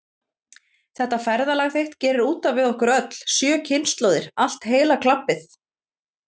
Þetta ferðalag þitt gerir út af við okkur öll, sjö kynslóðir, allt heila klabbið.